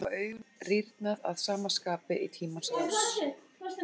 Meðal þessara tegunda hafa augun rýrnað að sama skapi í tímans rás.